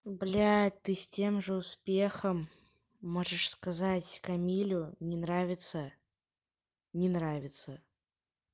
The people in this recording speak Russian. блядь ты с тем же успехом можешь сказать камилю не нравится не нравится